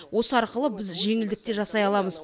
осы арқылы біз жеңілдік те жасай аламыз